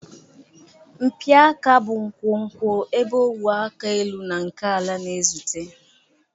Mpi aka bụ nkwonkwo ebe ogwe aka elu na nke ala na-ezute.